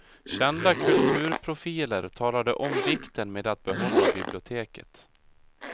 Kända kulturprofiler talade om vikten med att behålla biblioteket.